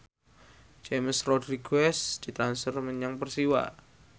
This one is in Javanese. James Rodriguez ditransfer menyang Persiwa